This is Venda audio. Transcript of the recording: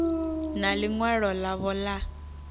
na ḽi ṅwalo ḽavho ḽa